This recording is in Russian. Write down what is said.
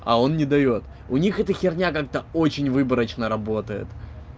а он не даёт у них эта херня как-то очень выборочно работает